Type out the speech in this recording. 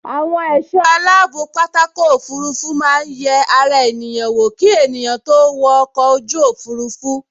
Àwọn ẹ̀sọ́ aláàbò pápákọ̀ òfurufú máa n yẹ ara ènìyàn wò ki ènìyàn tó wo ọkọ̀ ojú òfurufú